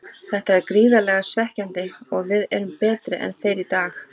Þetta er gríðarlega svekkjandi og við erum betri en þeir í dag.